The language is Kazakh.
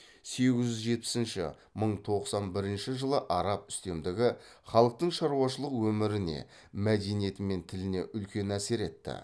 сегіз жүз жетпісінші мың тоқсан бірінші жылы араб үстемдігі халықтың шаруашылық өміріне мәдениеті мен тіліне үлкен әсер етті